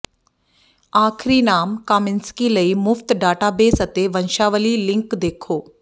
ਆਖਰੀ ਨਾਮ ਕਾਮਿੰਸਕੀ ਲਈ ਮੁਫਤ ਡਾਟਾਬੇਸ ਅਤੇ ਵੰਸ਼ਾਵਲੀ ਲਿੰਕ ਦੇਖੋ